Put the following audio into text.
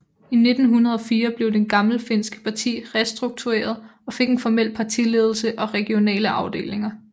I 1904 blev det gammelfinske parti restruktureret og fik en formel partiledelse og regionale afdelinger